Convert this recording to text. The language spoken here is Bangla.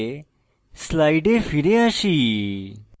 slides ফিরে আসি